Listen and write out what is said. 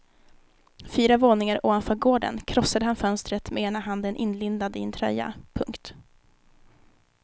Fyra våningar ovanför gården krossade han fönstret med ena handen inlindad i en tröja. punkt